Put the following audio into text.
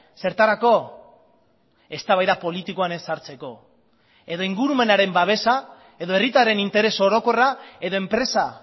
zertarako eztabaida politikoan ez sartzeko edo ingurumenaren babesa edo herritarren interes orokorra edo enpresa